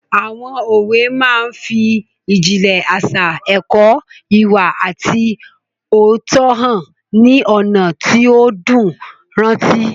Àwọn òwe máa n fi ìjìnlẹ̀ àṣà, ẹ̀kọ́ ìwà àti òótọ́hàn ní ọ̀nà tó dùn rántí